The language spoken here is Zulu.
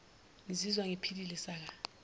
ngizizwa ngiphile saka